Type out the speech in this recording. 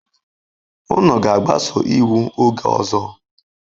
Unu ga-agbaso iwu oge ọzọ.